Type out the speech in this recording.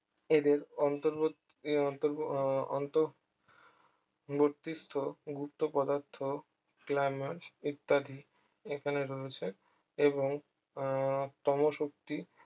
এদের অন্তবর্তী অন্তর্ব আহ অন্ত বর্তীস্থ গুপ্ত পদার্থ glamour ইত্যাদি এখানে রয়েছে এবং আহ তম শক্তি